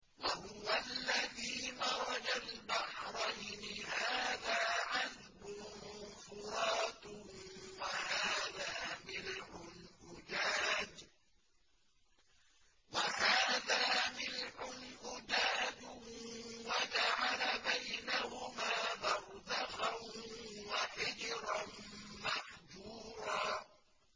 ۞ وَهُوَ الَّذِي مَرَجَ الْبَحْرَيْنِ هَٰذَا عَذْبٌ فُرَاتٌ وَهَٰذَا مِلْحٌ أُجَاجٌ وَجَعَلَ بَيْنَهُمَا بَرْزَخًا وَحِجْرًا مَّحْجُورًا